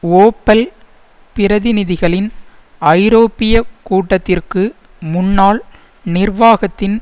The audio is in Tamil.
ஓப்பல் பிரதிநிதிகளின் ஐரோப்பிய கூட்டத்திற்கு முன்னால் நிர்வாகத்தின்